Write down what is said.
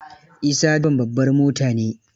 Isa direban babbar mota ne.